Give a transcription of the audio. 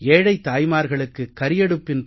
ஏழைத் தாயமார்களுக்கு கரியடுப்பின்